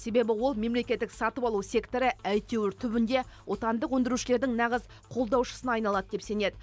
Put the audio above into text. себебі ол мемлекеттік сатып алу секторы әйтеуір түбінде отандық өндірушілердің нағыз қолдаушысына айналады деп сенеді